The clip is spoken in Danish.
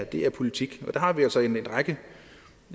det er politik der har vi altså en række